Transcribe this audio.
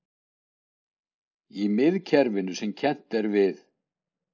Í miðkerfinu sem kennt er við